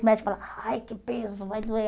Os médicos falavam, ai, que peso, vai doer.